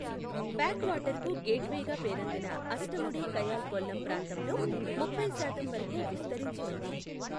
Back వాటర్స్కు గేట్ వేగా పేరొందిన అష్టముడి కయాల్ కొల్లం ప్రాంతంలో ముప్పై శాతం వరకు విస్తరించి ఉంది.